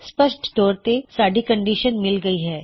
ਸਪਸ਼ਟ ਤੌਰ ਤੇ ਸਾਡੀ ਕੰਨਡਿਸ਼ਨ ਮਿਲ ਗਈ ਹੈ